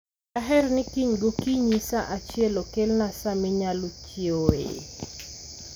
Daher ni kiny gokinyi sa achiel okelna sa minyalo chiewoe.